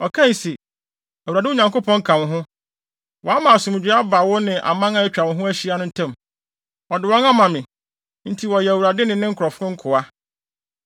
Ɔkae se, “ Awurade, wo Nyankopɔn ka wo ho. Wama asomdwoe aba wo ne aman a atwa wo ho ahyia no ntam. Ɔde wɔn ama me, nti wɔyɛ Awurade ne ne nkurɔfo nkoa.